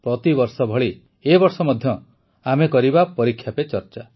ପ୍ରତିବର୍ଷ ଭଳି ଏ ବର୍ଷ ମଧ୍ୟ ଆମେ କରିବା ପରୀକ୍ଷା ପେ ଚର୍ଚ୍ଚା